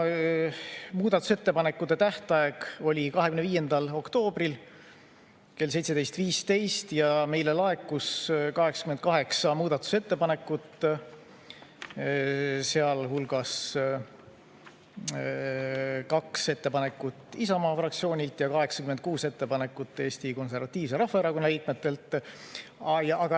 Muudatusettepanekute tähtaeg oli 25. oktoober kell 17.15 ja meile laekus 88 muudatusettepanekut, sealhulgas kaks ettepanekut Isamaa fraktsioonilt ja 86 ettepanekut Eesti Konservatiivse Rahvaerakonna liikmetelt.